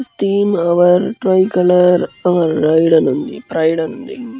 Theme ఔర్ tricolour pride అని ఉంది.